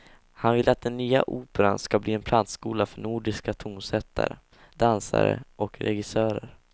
Han vill att den nya operan ska bli en plantskola för nordiska tonsättare, dansare och regissörer.